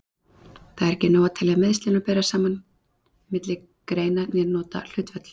Það er ekki nóg að telja meiðslin og bera saman milli greina né nota hlutföll.